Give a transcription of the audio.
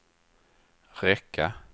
räcka